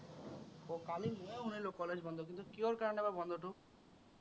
আহ কালি মইও শুনিলো college বন্ধ বুলি, কিহৰ কাৰনে বা বন্ধটো?